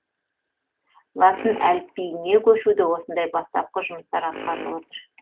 латын әліпбиіне көшуде осындай бастапқы жұмыстар атқарылып отыр